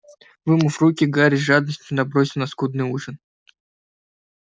вымыв руки гарри с жадностью набросился на скудный ужин